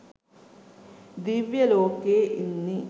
දිව්‍ය ලෝකයේ ඉන්නේ